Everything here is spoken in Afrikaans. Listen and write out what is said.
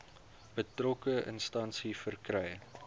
betrokke instansie verkry